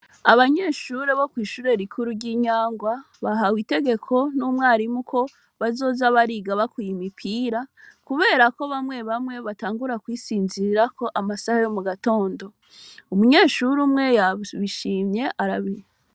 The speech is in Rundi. Abanyeshure bo kw'ishure rikuru ry'Inyangwa bahawe itegeko n'umwarimu ko bazoza bariga bakuye imipira kuberako bamwe bamwe batangura kwisinzirirako amasaha yo mugatondo. Umunyeshure umwe yabishimye.